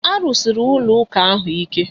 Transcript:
A rụsiri ụlọ ụka ahụ ike